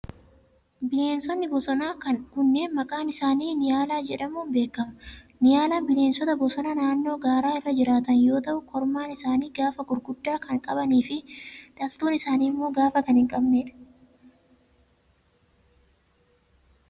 Bineensonni bosonaa kunneen maqaan isaani ,niyaalaa jedhamuun beekama. Niyaalaan bineensota bosonaa naannoo gaaraa irra jiraatan yoo ta'u, kormaan isaanii gaafa guguddaa kan qabanii fi dhaltuun isaanii immoo gaafa kan hin qabnee dha.